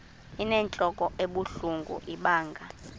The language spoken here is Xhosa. inentlok ebuhlungu ibanga